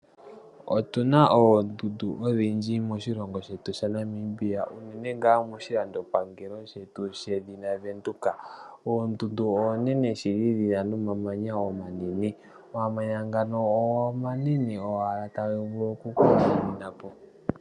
Otuna oondundu odhindji moshilongo shetu shaNamibia unene nga moshilandopangelo shedhina oVenduka. Oondundu onene shili dhina nomamanya omanene, omamanya ngano omanene owala nota ga vulu oku kula mininapo.